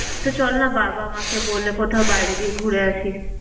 তো চলনা বাবা মাকে বলে কোথাও বাইরে দিয়ে ঘুরে আসি।